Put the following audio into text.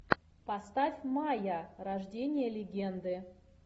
поставь майя рождение легенды